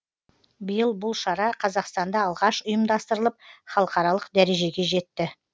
биыл бұл шара қазақстанда алғаш ұйымдастырылып халықаралық дәрежеге жетті